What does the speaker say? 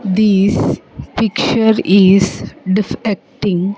This picture is defecting --